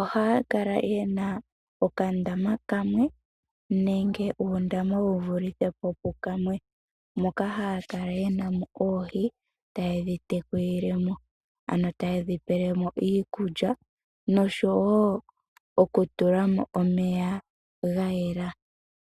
oha ya kala yena okandama kamwe, nenge uundama wuvilithe po pukamwe, moka ha ya kala yena mo oohi ta ye dhi te kulile mo, ano ta ye dhi pe lemo iikulya, no sho woo oku tulamo omeya ga yela.